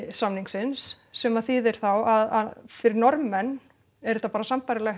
samningsins sem að þýðir þá að fyrir Norðmenn er þetta bara sambærilegt